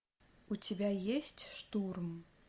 у тебя есть штурм